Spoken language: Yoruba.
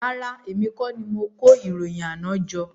Rárá oo, èmi kọ́ ni mo kó ìròyìn àná jọ